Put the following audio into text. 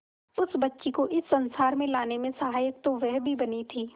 उस बच्ची को इस संसार में लाने में सहायक तो वह भी बनी थी